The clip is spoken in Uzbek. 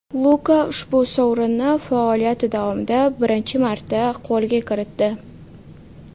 Luka ushbu sovrinni faoliyati davomida birinchi marta qo‘lga kiritdi.